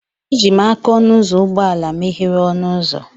Eji m aka ọnụ ụzọ ụgbọ ala meghere ọnụ ụzọ